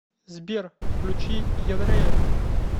сбер включи ядрэя